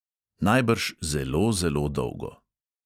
Najbrž zelo, zelo dolgo.